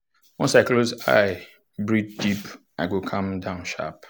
once i close eye breathe deep i go calm down sharp.